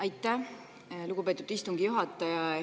Aitäh, lugupeetud istungi juhataja!